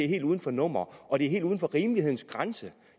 helt uden for nummer og det er helt uden for rimelighedens grænse